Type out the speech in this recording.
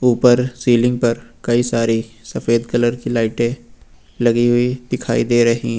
ऊपर सीलिंग पर कई सारी सफेद कलर की लाइटें लगी हुई दिखाई दे रही हैं।